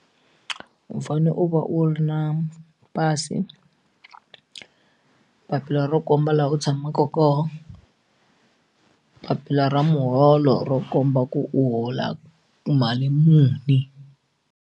U fanele u va u ri na pasi papila ro komba laha u tshamaka ka papila ra muholo ro komba ku u hola mali muni.